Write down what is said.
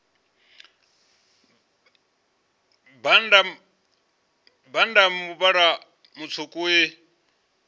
bannda a muvhala mutswuku i